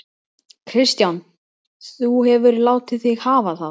Kristján: Þú hefur látið þig hafa það?